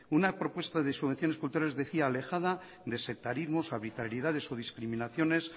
una propuesta de subvenciones decía alejada de sectarismos arbitrariedades o discriminaciones